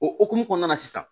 O hukumu kɔnɔna na sisan